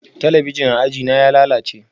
Talabijin a ajina ya lalace